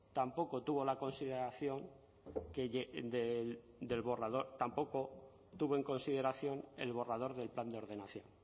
tampoco tuvo en consideración el borrador del plan de ordenación